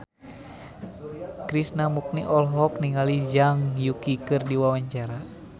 Krishna Mukti olohok ningali Zhang Yuqi keur diwawancara